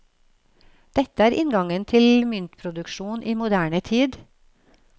Dette er inngangen til myntproduksjon i moderne tid.